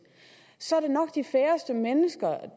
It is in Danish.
så er det nok de færreste mennesker